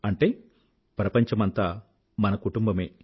అంటే ప్రపంచమంతా మన కుటుంబమే